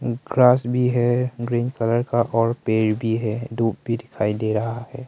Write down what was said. Grass भी है green colour का और पेर भी है धूप भी दिखाई दे रहा है।